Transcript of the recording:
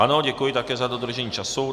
Ano, děkuji také za dodržení času.